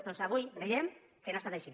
doncs avui veiem que no ha estat així